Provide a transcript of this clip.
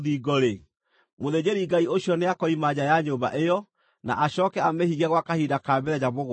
mũthĩnjĩri-Ngai ũcio nĩakoima nja ya nyũmba ĩyo na acooke amĩhinge gwa kahinda ka mĩthenya mũgwanja.